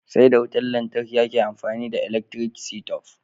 Sai da wutar lantarki ake amfani da elaktiri sitob.